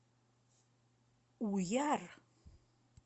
уяр